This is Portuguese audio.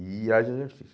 E exercício.